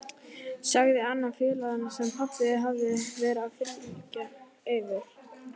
sagði annar félaganna sem pabbi hafði verið að þylja yfir.